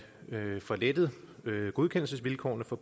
får lettet godkendelsesvilkårene for